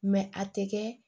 a tɛ kɛ